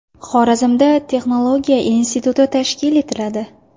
Xorazmda texnologiya instituti tashkil etiladi.